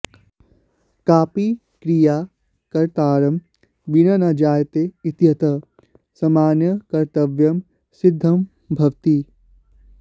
कापि क्रिया कर्तारं विना न जायते इत्यतः सामान्यकर्तृत्वं सिद्धं भवति